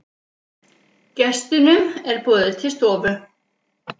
Gestunum er boðið til stofu.